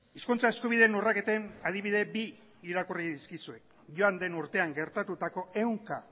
hizkuntza eskubideen urraketen adibide bi irakurri dizkizuet joan den urtean gertatutako ehunka